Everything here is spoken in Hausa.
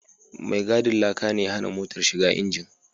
Mai gadin laka ne ya hana motar shiga injin